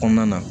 Kɔnɔna na